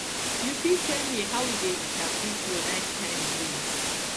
you fit tell me how you dey interpret your nighttime dreams